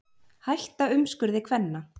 Hætta umskurði kvenna